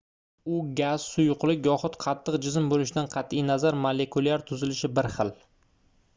u gaz suyuqlik yoxud qattiq jism boʻlishidan qatʼi nazar molekulyar tuzilishi bir xil